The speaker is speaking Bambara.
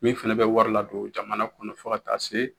Min fɛnɛ bɛ wari ladon jamana kɔnɔ fo ka taa se